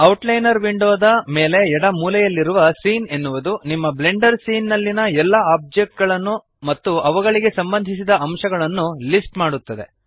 outliner ವಿಂಡೋದ ಮೇಲೆ ಎಡ ಮೂಲೆಯಲ್ಲಿರುವ ಸೀನ್ ಎನ್ನುವುದು ನಿಮ್ಮ ಬ್ಲೆಂಡರ್ ಸೀನ್ ನಲ್ಲಿಯ ಎಲ್ಲ ಆಬ್ಜೆಕ್ಟ್ ಗಳನ್ನು ಮತ್ತು ಅವುಗಳಿಗೆ ಸಂಬಂಧಿಸಿದ ಅಂಶಗಳನ್ನು ಲಿಸ್ಟ್ ಮಾಡುತ್ತದೆ